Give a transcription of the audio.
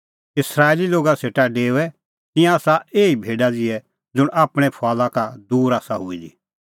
इस्राएली लोगा सेटा डेओऐ तिंयां आसा एही भेडा ज़िहै ज़ुंण आपणैं फुआला का दूर आसा हुई दी